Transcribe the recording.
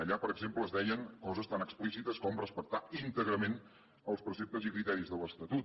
allà per exemple es deien coses tan explícites com respectar íntegrament els preceptes i criteris de l’estatut